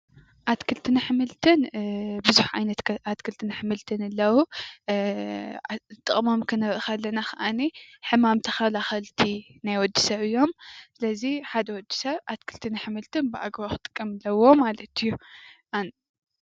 ኣትክልትነ ኣሕምልትን ቡዙሕ ዓይነት ኣትክልትን ኣሕምልት አለዉ። ጠቅሞም ክንርእ ከለና ድማ ሕማም ተከላከልቲ ናይ ወዲ ሰብ አዮም፡፡ ስለዚይ ሓደ ወዲ ሰብ ኣትክልትን ኣሕምልትን ብኣግባቡ ክጥቀም ኣለዎ ማለት እዩ፡፡